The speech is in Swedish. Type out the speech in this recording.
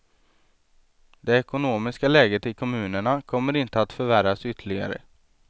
Det ekonomiska läget i kommunerna kommer inte att förvärras ytterligare.